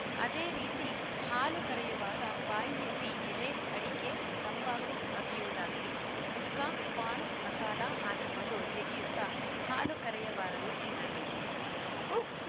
ಅದೇ ರೀತಿ ಹಾಲು ಕರೆಯುವಾಗ ಬಾಯಿಯಲ್ಲಿ ಎಲೆಅಡಿಕೆ ತಂಬಾಕು ಅಗಿಯುವುದಾಗಲಿ ಗುಟ್ಕಾ ಪಾನ್‌ ಮಸಾಲ ಹಾಕಿಕೊಂಡು ಜಗಿಯುತ್ತ ಹಾಲು ಕರೆಯಬಾರದು ಎಂದರು